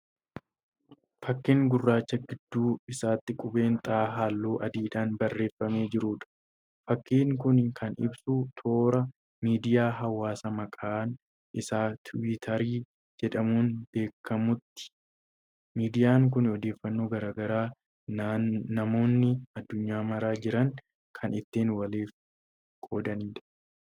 Fakkiin gurraacha gidduu isaatti qubeen 'X'halluu adiidhaan barreeffamee jiruudha. fakkiin Kuni Kan ibsu toora miidiyaa hawaasaa maqaan Isaa tiwiiitarii jedhamuun beekamuuti. miidiyaan Kuni odeeffannoo garagaraa namoonni addunyaa mara jiran Kan ittiin waliif qoodaniidha.